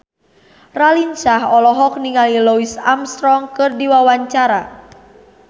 Raline Shah olohok ningali Louis Armstrong keur diwawancara